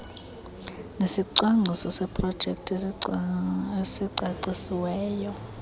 nesicwangciso seprojekthi esicacisiweyo